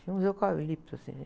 Tinha uns eucaliptos assim.